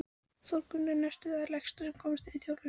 Þórgunnur næstum það lægsta sem komist varð í þjóðfélagsstiganum